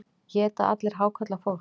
Éta allir hákarlar fólk?